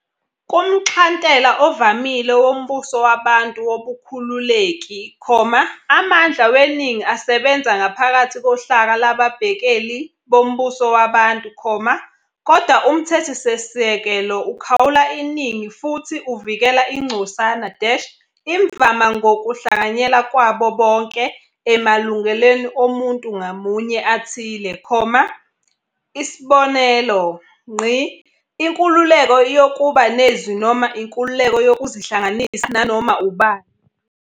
Kumxhantela ovamile wombusowabantu wobukhululeki, amandla weningi asebenza ngaphakathi kohlaka lababhekeli bombusowabantu, kodwa umthethosisekelo ukhawula iningi futhi uvikela ingcosana-imvama ngokuhlanganyela kwabo bonke emalungelweni omuntu ngamunye athile, isb. inkululeko yokuba nezwi noma inkululeko yokuzihlanganisa nanoma ubani.